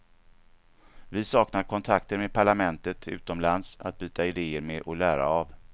Vi saknar kontakter med parlament utomlands att byta ideer med och lära av.